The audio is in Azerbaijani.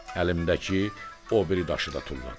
Əlimdəki o biri daşı da tulladım.